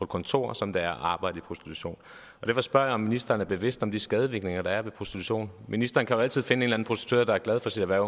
kontor som det er at arbejde i prostitution derfor spørger jeg om ministeren er bevidst om de skadevirkninger der er ved prostitution ministeren kan jo altid finde en eller anden prostitueret der er glad for sit erhverv